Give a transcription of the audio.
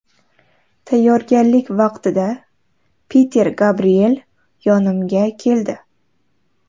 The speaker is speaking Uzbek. Tayyorgarlik vaqtida Piter Gabriel yonimga keldi.